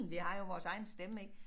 Vi har jo vores egen stemme ik